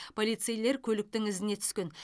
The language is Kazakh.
полицейлер көліктің ізіне түскен